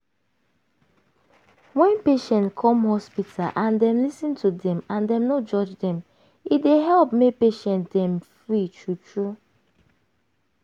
wen patient come hospital and dem lis ten to dem and dem no judge dem e dey help make patient dem free true true.